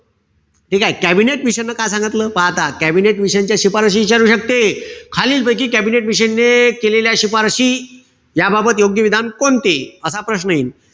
ठीकेय? कॅबिनेट मिशनन काय सांगितलं. पहा आता. कॅबिनेट मिशनच्या शिफारसी इचारू शकते. खालीलपैकी कॅबिनेट मिशनने केलेल्या शिफारसी या बाबत योग्य विधान कोणते? असा प्रश्न यिन.